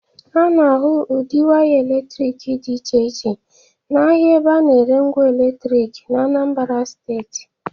A na-ahụ ụdị waya eletrik dị iche iche n’ahịa ebe a na-ere ngwa eletrik n’Anambara steeti.